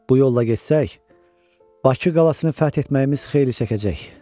Bu yolla getsək, Bakı qalasını fəth etməyimiz xeyli çəkəcək.